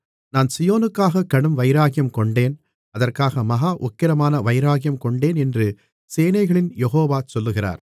நான் சீயோனுக்காக கடும் வைராக்கியங்கொண்டேன் அதற்காக மகா உக்கிரமான வைராக்கியங்கொண்டேன் என்று சேனைகளின் யெகோவா சொல்லுகிறார்